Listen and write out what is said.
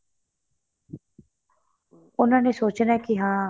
ਉਹਨਾ ਨੇ ਸੋਚਣਾ ਕੇ ਹਾਂ